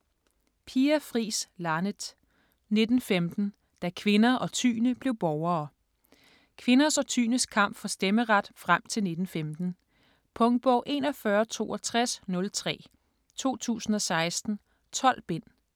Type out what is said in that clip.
Laneth, Pia Fris: 1915 - da kvinder og tyende blev borgere Kvinders og tyendes kamp for stemmeret frem til 1915. Punktbog 416203 2016. 12 bind.